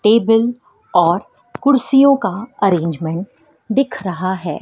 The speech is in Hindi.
टेबल और कुर्सियों का अरेंजमेंट दिख रहा है।